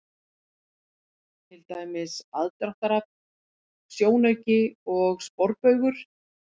Til dæmis: aðdráttarafl, sjónauki og sporbaugur.